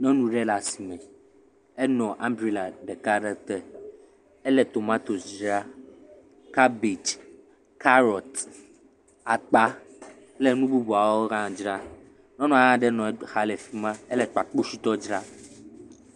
Nyɔnu ɖe le asime, enɔ ambrella ɖeka aɖe te, ele tomatosi dzram, kabɛdzi, karrot akpa kple nu bubuawo dzra, nyɔnu aɖe hã le exa le fi ma ele kpakpositɔ dzra.